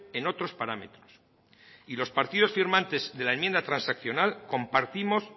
en otros parámetros y los partidos firmantes de la enmienda transaccional compartimos